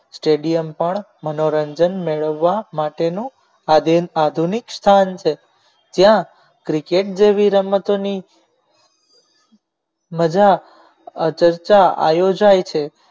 stadium પણ મનોરંજન મેળવવા માટેનું આધીન આધુનિક સ્થાન છે જ્યાં cricket જેવી રમતોની મજા આ ચર્ચા આયોજન